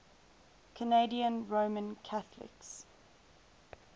canadian roman catholics